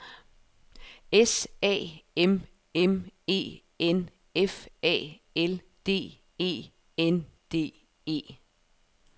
S A M M E N F A L D E N D E